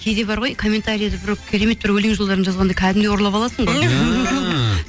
кейде бар ғой комментарияда біреу керемет бір өлең жолдарын жазғанда кәдімгідей ұрлап аласың ғой